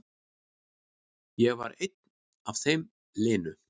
Ég var einn af þeim linu.